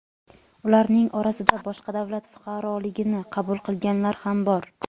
Ularning orasida boshqa davlat fuqaroligini qabul qilganlar ham bor.